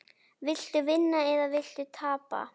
Viltu vinna eða viltu tapa?